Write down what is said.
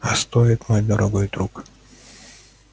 а стоит мой дорогой друг